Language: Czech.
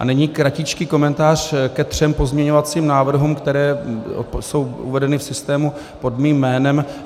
A nyní kratičký komentář ke třem pozměňovacím návrhům, které jsou uvedeny v systému pod mým jménem.